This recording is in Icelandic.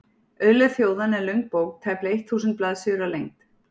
Auðlegð þjóðanna er löng bók, tæplega eitt þúsund blaðsíður að lengd.